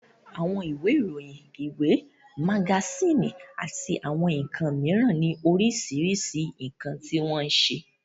Àwọn ìwé ìròyìn, ìwé, magasíìnì àti àwọn nǹkan mìíràn ni oríṣiríṣi nǹkan tí wọ́n ń ṣe